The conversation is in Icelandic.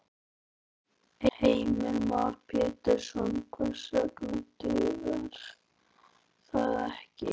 Heimir Már Pétursson: Hvers vegna dugar það ekki?